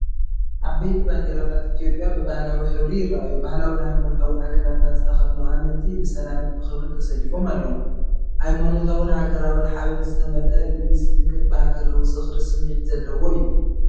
ዓበይቲ ባንዴራታት ኢትዮጵያ ብባህላዊ ሕብሪ ይራኣዩ ፤ ባህላውን ሃይማኖታውን ኣከዳድና ዝተኸድኑኣመንቲ ብሰላምን ብኽብሪን ተሰሊፎም ኣለው። ሃይማኖታውን ሃገራውን ሓበን ዝተመልአ፡ ልቢ ዝትንክፍን ብሃገራዊ ዝኽሪ ስምዒት ዘለዎ እዩ።